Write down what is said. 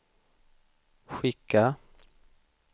skicka